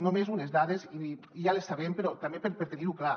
només unes dades ja les sabem però també per tenir·ho clar